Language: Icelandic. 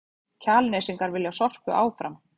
Kjalnesingar vilja Sorpu áfram